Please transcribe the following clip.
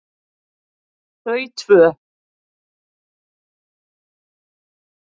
Þau tvö